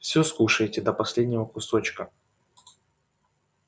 всё скушаете до последнего кусочка